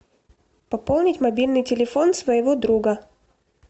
пополнить мобильный телефон своего друга